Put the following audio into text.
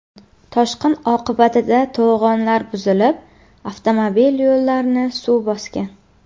Toshqin oqibatida to‘g‘onlar buzilib, avtomobil yo‘llarini suv bosgan.